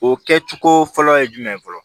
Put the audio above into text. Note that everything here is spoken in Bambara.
O kɛ cogo fɔlɔ ye jumɛn ye fɔlɔ